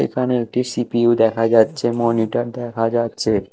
এখানে একটি সি_পি_ইউ দেখা যাচ্ছে মনিটর দেখা যাচ্ছে।